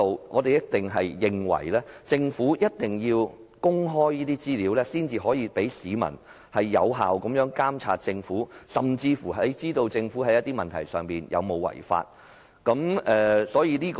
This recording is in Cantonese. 我們認為，政府必須公開資料，市民才可以有效監察政府，甚至了解政府在某些問題上有否違法。